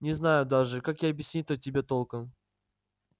не знаю даже как и объяснить-то тебе толком